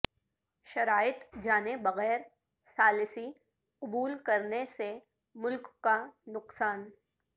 شرائط جانے بغیر ثالثی قبول کرنے سے ملک کا نقصان